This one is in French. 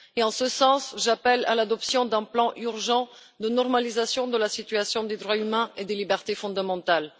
Et, en ce sens, j'appelle à l'adoption d'un plan urgent de normalisation de la situation des droits humains et des libertés fondamentales.